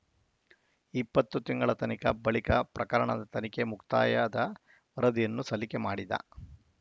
ಇಪ್ಪತ್ತು ತಿಂಗಳ ತನಿಖ ಬಳಿಕ ಪ್ರಕರಣದ ತನಿಖೆ ಮುಕ್ತಾಯದ ವರದಿಯನ್ನು ಸಲ್ಲಿಕೆ ಮಾಡಿದ